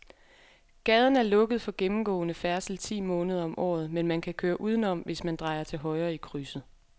Gaden er lukket for gennemgående færdsel ti måneder om året, men man kan køre udenom, hvis man drejer til højre i krydset.